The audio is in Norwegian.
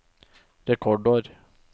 rekordår